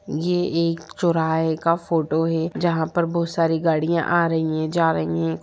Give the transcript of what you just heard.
ये एक चौराहे का फोटो है जहां पर बहुत सारी गाड़ियां आ रही है जा रही हैं ।